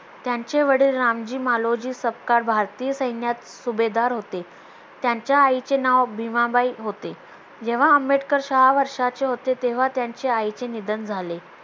त्यांचे वडील रामजी मालोजी सपकाळ भारतीय सैन्यात सुभेदार होते. त्यांच्या आईचे नाव भिमाबाई होते. जेव्हा आंबेडकर सहा वर्षाचे होते तेव्हा त्यांच्या आईचे निधन झाले